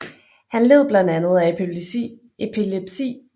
Han led blandt andet af epilepsi